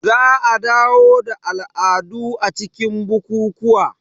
Za a dawo da al'adu a cikin bukukuwa